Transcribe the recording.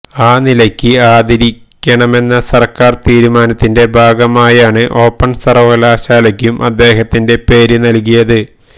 ആ നിലയ്ക്ക് ആദരിക്കണമെന്ന സർക്കാർ തീരുമാനത്തിന്റെ ഭാഗമായാണ് ഓപ്പൺ സർവകലാശാലയ്ക്കു അദ്ദേഹത്തിന്റെ പേര് നൽകിയത്